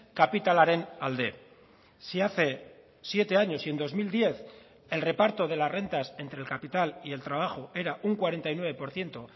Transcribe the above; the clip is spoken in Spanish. kapitalaren alde si hace siete años si en dos mil diez el reparto de las rentas entre el capital y el trabajo era un cuarenta y nueve por ciento